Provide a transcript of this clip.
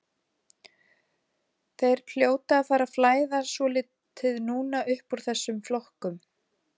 Þeir hljóta að fara að flæða svolítið núna uppúr þessum flokkum.